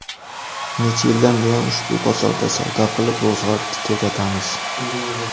Necha yildan buyon ushbu bozorda savdo qilib ro‘zg‘or tebratamiz.